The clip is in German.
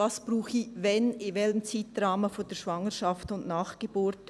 Was brauche ich wann, in welchem Zeitrahmen der Schwangerschaft und nach der Geburt?